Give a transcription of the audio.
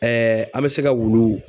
an bɛ se ka wulu